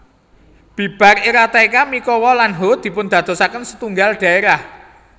Bibar era Taika Mikawa lan Ho dipundadosaken setunggal dhaerah